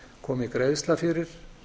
komi greiðsla fyrir